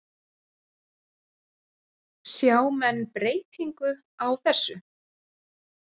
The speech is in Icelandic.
Sjá menn breytingu á þessu?